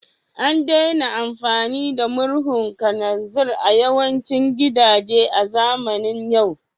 An daina amfani da murhun kananzir a yawancin gidaje a zamanin yau